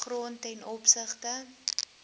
grond ten opsigte